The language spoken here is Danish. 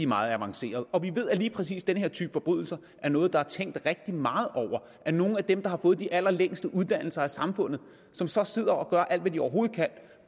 meget avancerede og vi ved at lige præcis den her type forbrydelser er noget der er tænkt rigtig meget over af nogle af dem der har fået de allerlængste uddannelser i samfundet som så sidder og gør alt hvad de overhovedet kan